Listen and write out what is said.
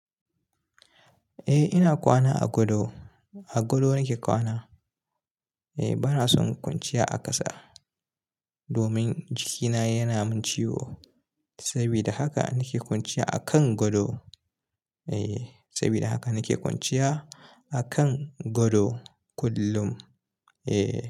Eh ina kwana a gado, a gado nake kwana. Eh bana son kwanciya a ƙasa domin jikina yana min ciwo saboda haka nake kwanciya a kan gado. Eh saboda haka nake kwanciya a kan gado kullum. Eh.